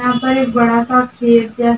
यहाँ पे एक बड़ा सा खेत जैसा --